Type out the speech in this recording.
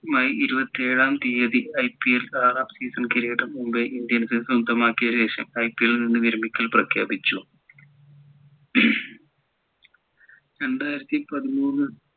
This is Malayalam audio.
മെയ് ഇരുപത്തിയേഴാം തീയതി IPL ആറാം season കിരീടം മുംബൈ ഇന്ത്യൻസ് സ്വന്തമാക്കിയ ശേഷം IPL നിന്ന് വിരമിക്കൽ പ്രഖ്യാപിച്ചു രണ്ടായിരത്തി പതിമൂന്ന്